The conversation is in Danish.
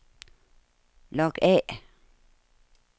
log af